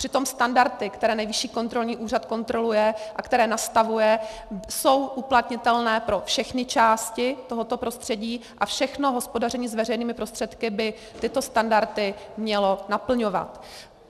Přitom standardy, které Nejvyšší kontrolní úřad kontroluje a které nastavuje, jsou uplatnitelné pro všechny části tohoto prostředí a všechno hospodaření s veřejnými prostředky by tyto standardy mělo naplňovat.